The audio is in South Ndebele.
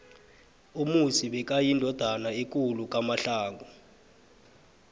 umusi bekayindodana ekuku kamhlanga